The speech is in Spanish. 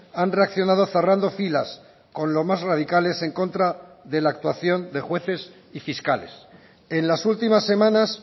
han reaccionado cerrando filas con lo más radicales en contra de la actuación de jueces y fiscales en las últimas semanas